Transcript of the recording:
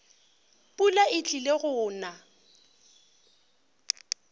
pula e tlile go na